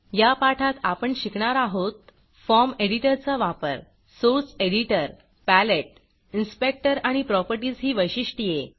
या पाठात आपण शिकणार आहोत फॉर्म एडिटरचा वापर सोर्स एडिटर पॅलेट इन्सपेक्टर आणि प्रॉपर्टीज ही वैशिष्ट्ये